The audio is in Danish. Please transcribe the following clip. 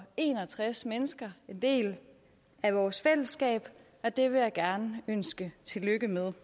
en og tres mennesker en del af vores fællesskab og det vil jeg gerne ønske tillykke med